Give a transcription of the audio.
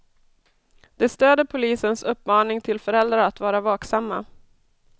De stöder polisens uppmaning till föräldrar att vara vaksamma.